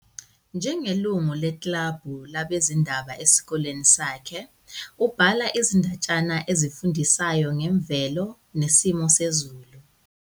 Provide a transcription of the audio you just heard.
Njengelungu lekilabhu labezindaba esikoleni sakhe, ubhala izindatshana ezifundisayo ngemvelo nesimo sezulu.